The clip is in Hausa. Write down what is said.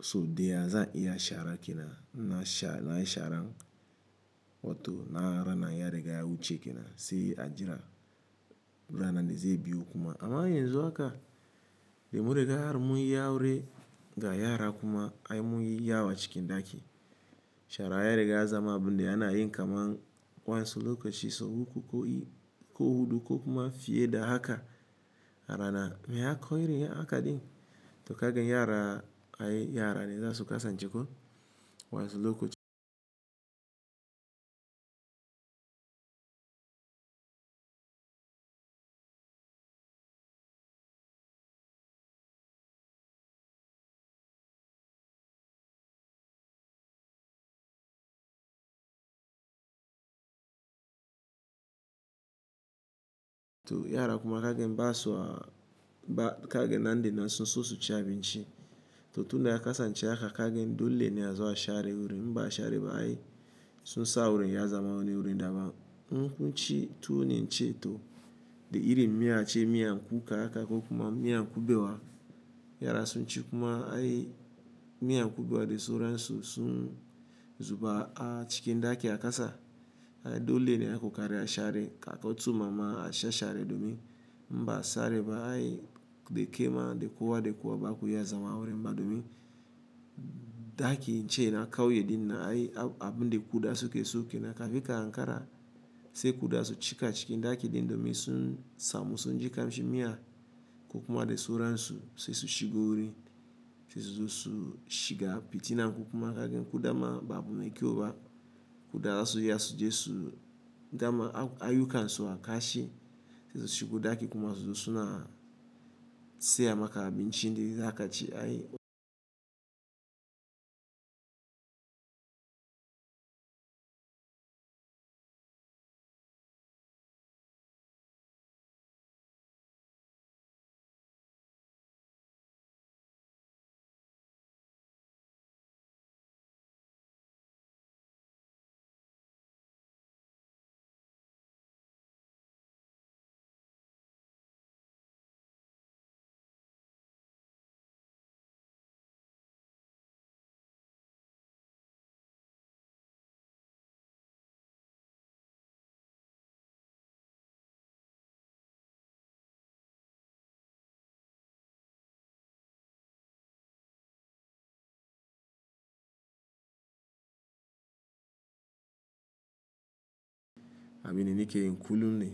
so daya zan iya shara kinan na sha ran wato na rana ya riga ya wuce kenan sai a jira ranan dai zai biyo kuma. Amma yanzu haka dai munriga har mun yi aure ga yara kuma ai mun yi yawa cikin daki. Shara ya riga ya zama abun da ana yin kamar wansu lokacin so uku ko hudu ko kuma fiye da haka rana me ya koyi rin aka din. To kaga yara ai yara ne za su kasance ko wansu lokacin. To yara kuma kaga in ba so ba kaga nan dai nan sun so su ci abinci. To tun da ya kasance aka kaga dole ne a zo a share wuri, in ba a share ba ai sun sa wuri ya zama wani wuri daban. Kun ci tuwo ne ince to da irin miya ce miyan kuka haka ko kuma miyan kubewa. Yara sun ci kuma ai miyan kubewa dai sauran su sun zuba a cikin daki a kasa. Dole ne a kokari a share kawo tsumama a sha share domin ba a share ba ai dai kema dai kowa dai kowa ba ku iya zama a wurin ba domin daki ce na kauye din na ai abun dai kuda su ke so kina ka fi karan kara sai kuda su cika cikin daki din domin sun samu sun ji kamshi miya ko kuma dai sauran su sai su shiga wuri sai su zo su shiga fitina ko kuma kaga kuda ma ba abu mai kyau ba. Kuda za su iya sujesu dama ayuka in so a kashi sai su shiga daki kuma su zo suna saya maka abinci dai haka ce ai. Aminin ke yin kullum ne.